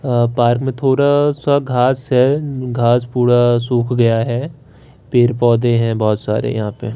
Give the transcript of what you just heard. अह park में थोड़ा सा घास है घास पूरा सूख गया है पेड़ पौधे हैं बहुत सारे यहां पे।